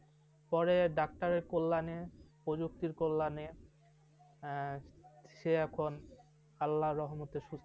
পরে doctor র কল্যাণে প্রযুক্তির কল্যাণে, হ্যাঁ, সে এখন আল্লাহর রহমতে সুস্থ।